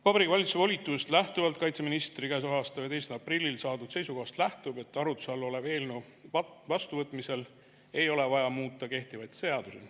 Vabariigi Valitsuse volitusest lähtuvalt kaitseministrilt käesoleva aasta 11. aprillil saadud seisukohast lähtub, et arutluse all oleva eelnõu vastuvõtmisel ei ole vaja muuta kehtivaid seadusi.